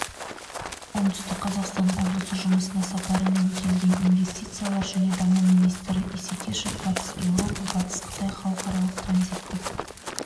оңтүстік қазақстан облысына жұмыс сапарымен келген инвестициялар және даму министрі исекешов батыс еуропа-батыс қытай халықаралық транзиттік